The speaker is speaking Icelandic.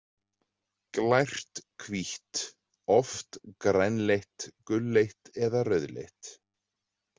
Glært, hvítt, oft grænleitt, gulleit eða rauðleitt.